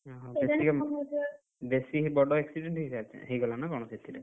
ହୁଁ ହୁଁ ବେଶୀ ବଡ accident ହେଇସାରିଛି ହେଇଗଲାନା କଣ ସେଥିରେ?